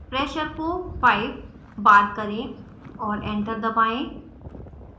pressure को 5 bar करें और enter दबाएँ